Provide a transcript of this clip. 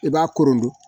I b'a korondon